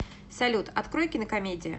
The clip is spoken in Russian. салют открой кинокомедия